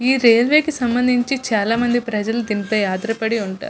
ఈ రైల్వే కి సంభందించి చాలా మంది ప్రజలు దీనిపై ఆధారపడి ఉంటారు.